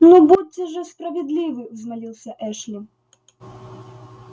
ну будьте же справедливы взмолился эшли